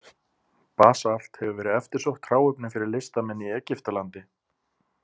Basalt hefur verið eftirsótt hráefni fyrir listamenn í Egyptalandi.